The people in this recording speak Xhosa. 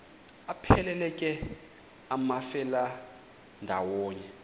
aphelela ke amafelandawonye